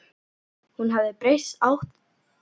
Hún hafði breyst átakanlega mikið á einum sólarhring.